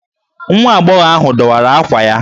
Nwa agbọghọ ahụ dọwara ákwà ya.